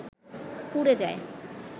পুরে যায়